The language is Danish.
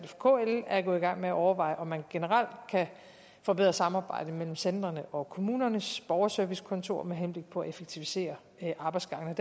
for kl er gået i gang med at overveje om man generelt kan forbedre samarbejdet mellem centrene og kommunernes borgerservicekontor med henblik på at effektivisere arbejdsgangene